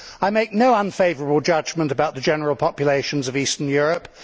I make no unfavourable judgment about the general populations of Eastern Europe